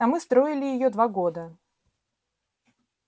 а мы строили её два года